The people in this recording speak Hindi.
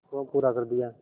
वह पूरा कर दिया